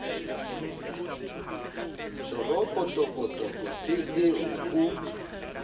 toropo tokotoko ke eo o